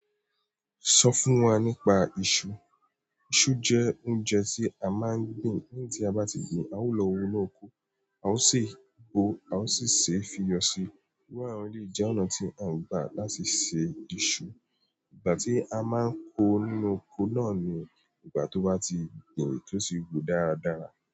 Sọ fún wa nípa iṣu. Iṣu jẹ́ óúnjẹ tí a máa ń gbin. Léyiń tí a bá ti gbin, a ó lọ wọ inú oko, a ó sì gbo, a ó sì ṣé fi yọ sí. Iru àwọn eleyi jẹ́ ọ̀nà tí à ń gbà láti ṣé iṣu. Ìgbà tí a máa ń kó nínú oko náà ni ìgbà tó bá ti gbin tó tì wu dáradára.